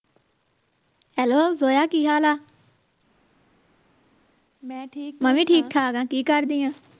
Hello Zoya ਕੀ ਹਾਲ ਆ ਮੈਂ ਵੀ ਠੀਕ ਠਾਕ ਕੀ ਕਰਦੀ ਆ